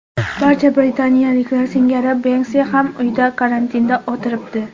Barcha britaniyaliklar singari Benksi ham uyda karantinda o‘tiribdi.